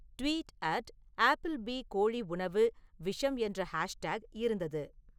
tweet at Applebee கோழி உணவு விஷம் என்ற ஹாஷ்டேக் இருந்தது